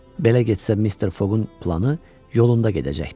Belə getsə Mister Foqun planı yolunda gedəcəkdi.